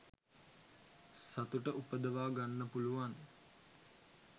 සතුට උපදවා ගන්න පුළුවන්.